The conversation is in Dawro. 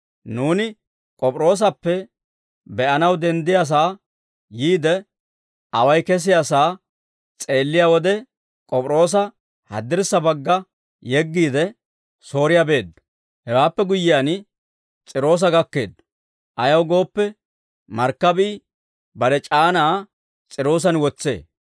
Nuuni K'op'iroosappe be'anaw danddayiyaasaa yiide, away kesiyaasaa s'eelliyaa wode K'op'iroosa haddirssa bagga yeggiide, Sooriyaa beeddo; hewaappe guyyiyaan S'iiroosa gakkeeddo; ayaw gooppe, markkabii bare c'aanaa S'iiroosan wotsee.